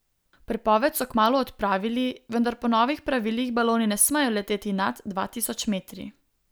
Prepoved so kmalu odpravili, vendar po novih pravilih baloni ne smejo leteti nad dva tisoč metri.